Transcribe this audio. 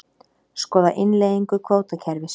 Skoða innleiðingu kvótakerfis